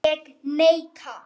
Ég neita.